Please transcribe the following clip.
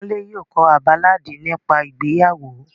Kunle yóò ko a baláàdi nipa ìgbeyawo.